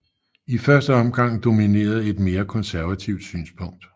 I første omgang dominerede et mere konservativt synspunkt